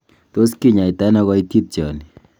Tos kinyaita ono koititioni?